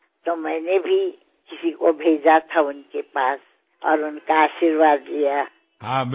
আমি সকলোৱে নৱৰাত্ৰি মহোৎসৱ গৰবা দুৰ্গা পুজা দশেৰা দিপাৱলী ভাইদুজ ষঠ পুজা আদি অসংখ্য উৎসৱ পালন কৰিম